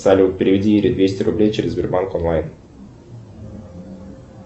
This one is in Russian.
салют переведи ире двести рублей через сбербанк онлайн